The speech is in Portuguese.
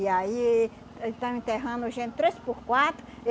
E aí, eles estão enterrando gente três por quatro.